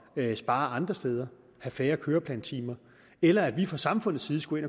at spare andre steder have færre køreplantimer eller at vi fra samfundets side skulle